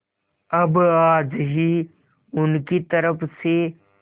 अब आज ही उनकी तरफ से